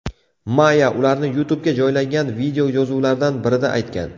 Maya ularni YouTube’ga joylangan videoyozuvlardan birida aytgan.